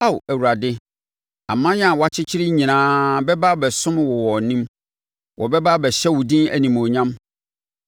Ao Awurade, aman a woakyekyere nyinaa bɛba abɛsom wo wɔ wʼanim; wɔbɛba abɛhyɛ wo din animuonyam.